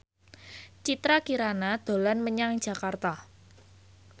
Citra Kirana dolan menyang Jakarta